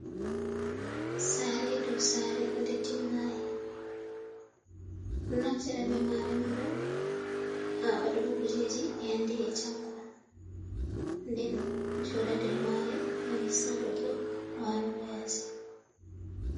Sare dau Sare de timmai, naftira bemare onbo ha wadugo kujeji hande e jango, ɗen joda nder mare gam hisna goddo walugo yasi.